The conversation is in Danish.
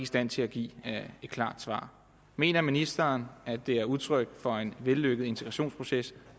stand til at give et klart svar mener ministeren at det er udtryk for en vellykket integrationsproces